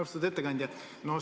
Austatud ettekandja!